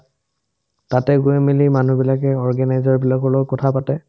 তাতে গৈ মিলি মানুহবিলাকে organizer বিলাকৰ লগত কথা পাতে